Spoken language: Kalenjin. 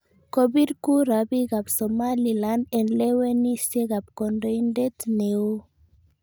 Kobir kura biik ab Somaliland en lewenisiet ab kondoindet neo.